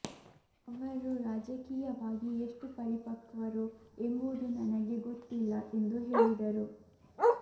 ಅವರು ರಾಜಕೀಯವಾಗಿ ಎಷ್ಟು ಪರಿಪಕ್ವರು ಎಂಬುವುದು ನನಗೆ ಗೊತ್ತಿಲ್ಲ ಎಂದು ಹೇಳಿದರು